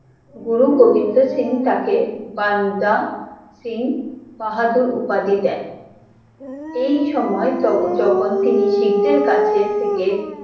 গুরু গোবিন্দ সিং তাকে বান্দা সিং বাহাদুর উপাধি দেন, এই সময় যখন তিনি শিখদের কাছে থেকে!